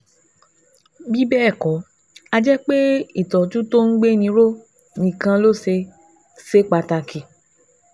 Bí bẹ́ẹ̀ kọ́, a jẹ́ pé ìtọ́jú tí ń gbéni ró nìkan ló ṣe ṣe pàtàkì